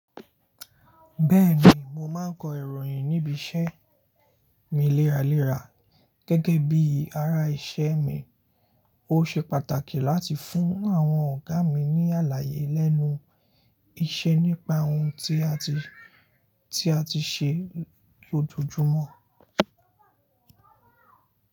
Bẹ́ẹ̀ni, mo máa ń kọ ìròyìn níbi iṣẹ́ mi léraléra gẹ́gẹ́ bíi ará iṣẹ́ mi. Ó ṣe pàtàkì láti fún àwọn ọ̀gá mi ní àlàyé lẹ́nu iṣẹ́ nípa ohun tí a ti, tí a ti ṣe lójoojúmọ́.